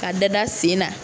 A da-da sen na